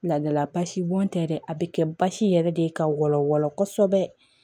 Laadala basi bɔn tɛ dɛ a be kɛ basi yɛrɛ de ye ka wala wala kosɛbɛ